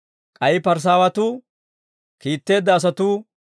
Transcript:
K'ay Parisaawatuu kiitteedda asatuu